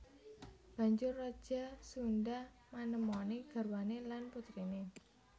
Banjur raja Sundha manemoni garwané lan putriné